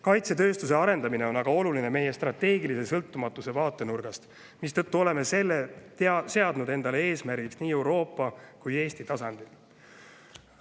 Kaitsetööstuse arendamine on aga oluline meie strateegilise sõltumatuse vaatenurgast, mistõttu oleme selle seadnud endale eesmärgiks nii Euroopa kui ka Eesti tasandil.